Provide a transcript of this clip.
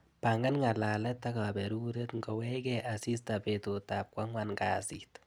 Pangan ng'alalet ak kaberuret ngowechke asista betutap kwang'an kasit.